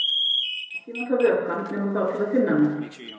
Ekki nota vökvann nema þá til að þynna með.